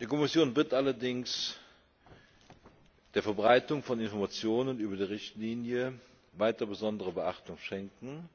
Die Kommission wird allerdings der Verbreitung von Informationen über die Richtlinie weiter besondere Beachtung schenken,